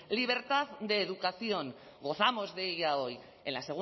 libertad de educación gozamos de ella hoy en la